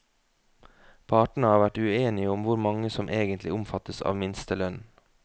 Partene har vært uenige om hvor mange som egentlig omfattes av minstelønnen.